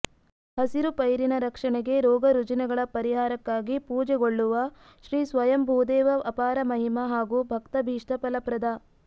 ಹಸಿರು ಪೈರಿನ ರಕ್ಷಣೆಗೆ ರೋಗರುಜಿನಗಳ ಪರಿಹಾರಕ್ಕಾಗಿ ಪೂಜೆಗೊಳ್ಳುವ ಶ್ರೀ ಸ್ವಯಂಭೂದೇವ ಅಪಾರಮಹಿಮ ಹಾಗೂ ಭಕ್ತಾಭೀಷ್ಟ ಫಲಪ್ರದ